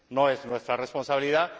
No es nuestra responsabilidad